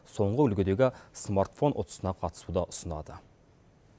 соңғы үлгідегі смартфон ұтысына қатысуды ұсынады